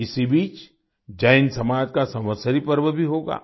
इसी बीच जैन समाज का संवत्सरी पर्व भी होगा